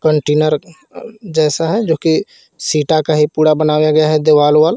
Container जैसा है जो की सीटा का ही पूरा बनाया गया है दीवाल विवाल.